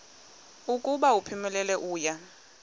ukuba uphumelele uya